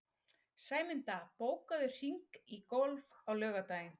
Sæmunda, bókaðu hring í golf á laugardaginn.